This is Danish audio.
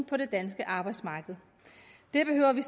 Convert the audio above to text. på det danske arbejdsmarked det behøver vi